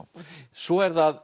svo er það